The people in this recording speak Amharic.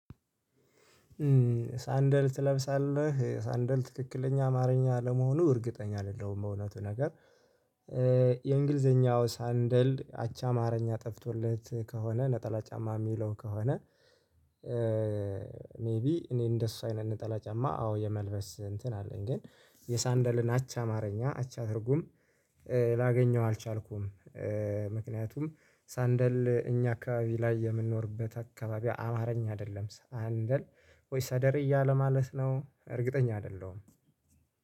ሳንደል ትለብሳለህ ሳንደል ትክክለኛ አማርኛ ለመሆኑ እርግጠኛ አይደለሁም በእውነቱ ነገር የእንግሊዘኛው ሳንደል አቻ ማረኛ ጠፍቶለት ከሆነ ነጠላ ጫማ እሚለው ከሆነ። ሜይቢ እኔ እንደሱ አይነት ነጠላ ጫማ አዎ የመልበስ እንትን አለኝ ግን የሳንደልን አቻ አማርኛ አቻ ትርጉም ላገኘው አልቻልኩም። ምክንያቱም ሳንደል እኛ አካባቢ ላይ የምንኖርበት አካባቢ አማርኛ አይደለም ሳንደል ወይስ አደሬ እያለ ማለት ነው እርግጠኛ አይደለሁም